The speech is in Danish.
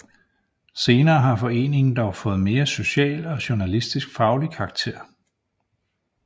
Senere har foreningen dog fået mere social og journalistisk faglig karakter